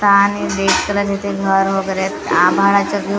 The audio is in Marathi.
आणि रेड कलर इथे घर वैगेरे आहेत आभाळाच्या झो--